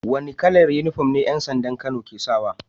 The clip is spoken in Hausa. Wani kalar inufom yan sandan kano ke sawa